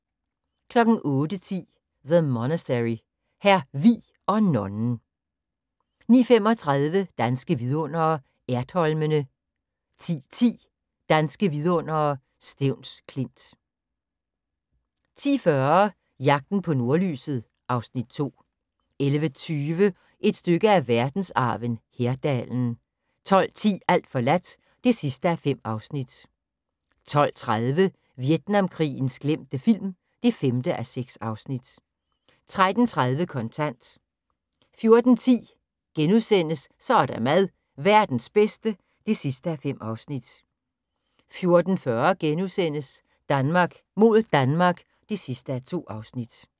08:10: The Monastary – Hr. Vig og nonnen 09:35: Danske Vidundere: Ertholmene 10:10: Danske Vidundere: Stevns Klint 10:40: Jagten på nordlyset (Afs. 2) 11:20: Et stykke af verdensarven: Herdalen 12:10: Alt forladt (5:5) 12:30: Vietnamkrigens glemte film (5:6) 13:30: Kontant 14:10: Så er der mad - verdens bedste (5:5)* 14:40: Danmark mod Danmark (2:2)*